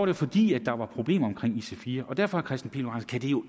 det fordi der var problemer med ic4 og derfor kan det jo